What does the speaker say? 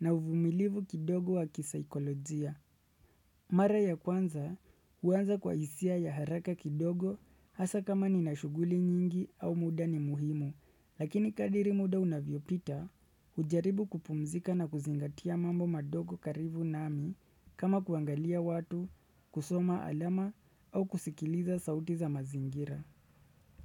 na uvumilivu kidogo wa kisaikolojia. Mara ya kwanza huanza kwa hisia ya haraka kidogo hasa kama ni na shuguli nyingi au muda ni muhimu. Lakini kadri muda unavyopita hujaribu kupumzika na kuzingatia mambo madogo karibu nami kama kuangalia watu, kusoma alama au kusikiliza sauti za mazingira.